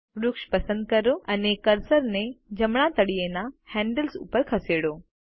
વૃક્ષ પસંદ કરો અને કર્સરને જમણાં તળિયેના હેન્ડલ ઉપર ખસેડો